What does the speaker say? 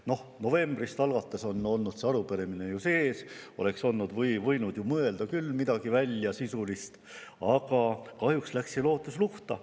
No see arupärimine on olnud sees juba novembrist alates, oleks ju võinud küll välja mõelda midagi sisulist, aga kahjuks läks see lootus luhta.